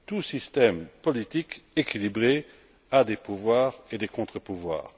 Tout système politique équilibré a des pouvoirs et des contrepouvoirs.